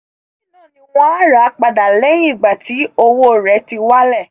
lẹ́yìn náà ni wọn a rà padà lẹ́yìn ìgbà tí owo rẹ̀ ti wálẹ̀